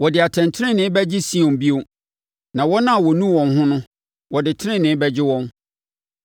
Wɔde atɛntenenee bɛgye Sion bio, na wɔn a wɔnu wɔn ho no, wɔde tenenee bɛgye wɔn.